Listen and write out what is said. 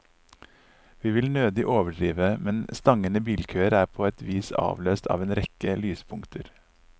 Vi vil nødig overdrive, men stangende bilkøer er på et vis avløst av en rekke lyspunkter.